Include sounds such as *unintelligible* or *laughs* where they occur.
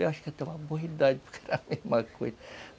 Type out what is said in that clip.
Eu acho que até uma boa *unintelligible* *laughs* porque era a mesma coisa *laughs*